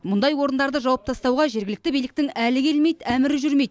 мұндай орындарды жауып тастауға жергілікті биліктің әлі келмейді әмірі жүрмейді